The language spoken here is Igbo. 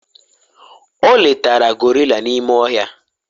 o letara gorilla n'ime ohia?